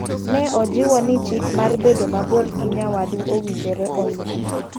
Ne ojiwo ni chik mar bedo mabor gi nyawadu owinjore olu.